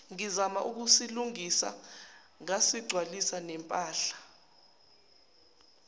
ngizama ukusilungisa ngasigcwalisanempahla